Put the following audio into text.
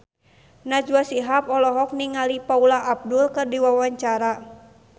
Najwa Shihab olohok ningali Paula Abdul keur diwawancara